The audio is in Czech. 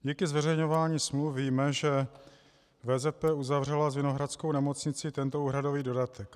Díky zveřejňování smluv víme, že VZP uzavřela s Vinohradskou nemocnicí tento úhradový dodatek.